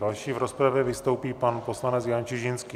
Další v rozpravě vystoupí pan poslanec Jan Čižinský.